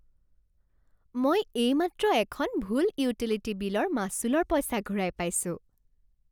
মই এইমাত্ৰ এখন ভুল ইউটিলিটি বিলৰ মাচুলৰ পইচা ঘূৰাই পাইছোঁ।